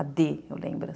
A dê, eu lembro.